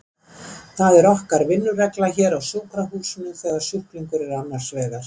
Það er okkar vinnuregla hér á sjúkrahúsinu þegar sjúklingar eru annars vegar.